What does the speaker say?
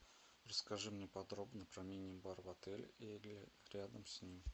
расскажи мне подробно про мини бар в отеле или рядом с ним